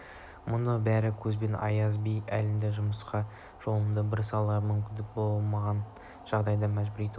мұның бәрі көбіне аяз би әліңді құмырсқа жолыңды біл салдарынан мүмкіндік болмаған жағдайда мәжбүр ету